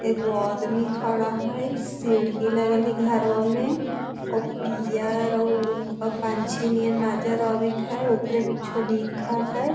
एगो आदमी खड़ा हई। सीढ़ी लगल हई घरवा में और पियर आउ सुग्गा पंछी नियर नजर आवित हई। ऊपर कुछो लिखल हई।